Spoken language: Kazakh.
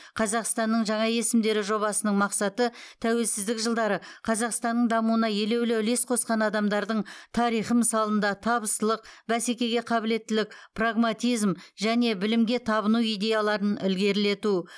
қазақстанның жаңа есімдері жобасының мақсаты тәуелсіздік жылдары қазақстанның дамуына елеулі үлес қосқан адамдардың тарихы мысалында табыстылық бәсекеге қабілеттілік прагматизм және білімге табыну идеяларын ілгерілету